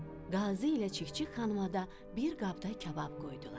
Qazı ilə Çik-çik xanıma da bir qabda kabab qoydular.